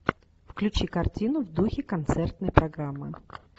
включи картину в духе концертной программы